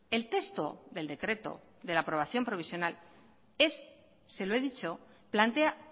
el texto del decreto de la aprobación provisional es se lo he dicho plantea